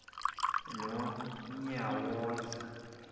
nonyawoza